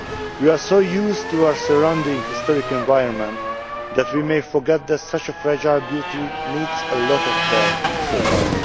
We are so used to our surrounding historic environment that we may forget that such a fragile beauty needs a lot of care to survive.